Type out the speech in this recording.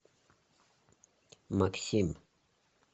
максим